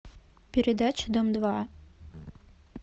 передача дом два